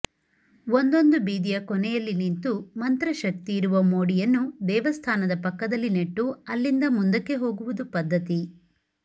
ಒಂದೊಂದು ಬೀದಿಯ ಕೊನೆಯಲ್ಲಿ ನಿಂತು ಮಂತ್ರಶಕ್ತಿಯಿರುವ ಮೋಡಿಯನ್ನು ದೇವಸ್ಥಾನದ ಪಕ್ಕದಲ್ಲಿ ನೆಟ್ಟು ಅಲ್ಲಿಂದ ಮುಂದಕ್ಕೆ ಹೋಗುವುದು ಪದ್ಧತಿ